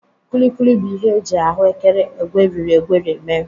Kulikuli bụ ihe e ji ahụ ékẹrè egweri egweri mee.